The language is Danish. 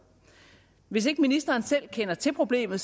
hvis ikke ministeren selv kender til problemet